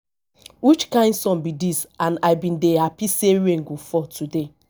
which kin sun be dịs and i bin dey happy say rain go fall today